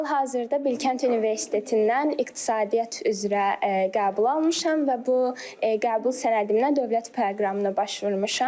Hal-hazırda Bilkənt Universitetindən iqtisadiyyat üzrə qəbul almışam və bu qəbul sənədimlə dövlət proqramına başvurmuşam.